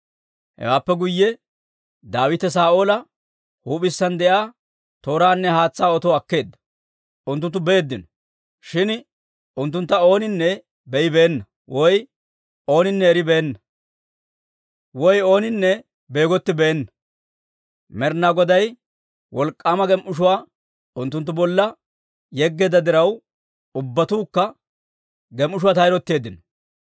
Hewaappe guyye Daawite Saa'oola huup'isaan de'iyaa tooraanne haatsaa otuwaa akkeedda; unttunttu beeddino. Shin unttuntta ooninne be'ibeenna, woy ooninne eribeenna, woy ooninne beegottibeena; Med'inaa Goday wolk'k'aama gem"ishshuwaa unttunttu bolla yeggeedda diraw, ubbatuukka gem"ishshuwaa tayrotteeddino.